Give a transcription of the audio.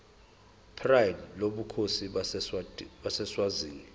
pride lobukhosi baseswazini